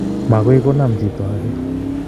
Makoi konam chito ake